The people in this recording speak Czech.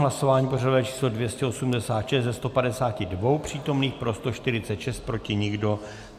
Hlasování pořadové číslo 286, ze 152 přítomných pro 146, proti nikdo.